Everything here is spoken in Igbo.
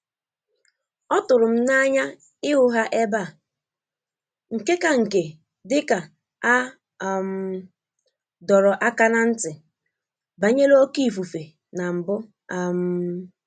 Ọ tụrụ m n'anya ịhụ ha ebe a, nke ka nke dịka a um dọrọ aka ná ntị banyere oké ifufe na mbụ um